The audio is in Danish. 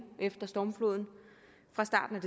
efter stormfloden